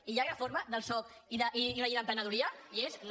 i hi ha reforma del soc i una llei d’emprenedoria és no